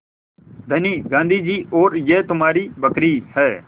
धनी गाँधी जी और यह तुम्हारी बकरी है